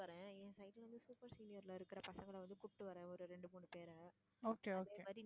okay okay